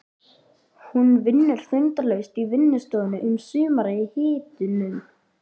Hún vinnur þindarlaust í vinnustofunni um sumarið í hitunum.